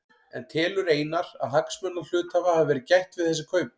En telur Einar að hagsmuna hluthafa hafi verið gætt við þessi kaup?